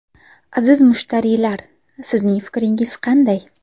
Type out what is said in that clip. Aziz mushtariylar, sizning fikringiz qanday?